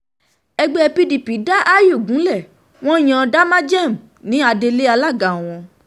ẹgbẹ́ pdp dá àyù gúnlẹ̀ wọn yan damagem ní adelé alága wọn